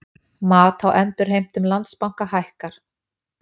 Mat á endurheimtum Landsbanka hækkar